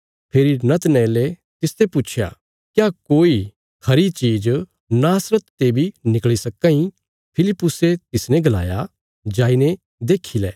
फेरी नतनएले तिसते पुच्छया क्या कोई खरी चीज़ नासरत ते बी निकल़ी सक्कां इ फिलिप्पुसे तिसने गलाया जाईने देक्खी लें